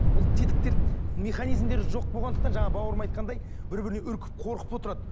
ол тетіктер механизмдер жоқ болғандықтан жаңа бауырым айтқандай бірі біріне үркіп қорқып отырады